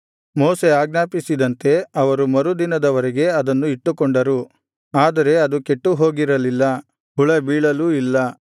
ಮೋಶೆ ಆಜ್ಞಾಪಿಸಿದಂತೆ ಅವರು ಮರು ದಿನದವರೆಗೆ ಅದನ್ನು ಇಟ್ಟುಕೊಂಡರು ಆದರೆ ಅದು ಕೆಟ್ಟು ಹೋಗಿರಲಿಲ್ಲ ಹುಳ ಬೀಳಲ್ಲೂ ಇಲ್ಲ